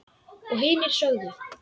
Og hinir sögðu: